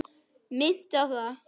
Minnti á það.